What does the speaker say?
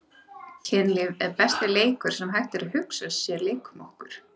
Kynlíf er besti leikur sem hægt er að hugsa sér- leikum okkur!